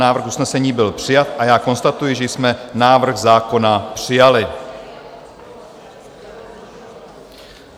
Návrh usnesení byl přijat a já konstatuji, že jsme návrh zákona přijali.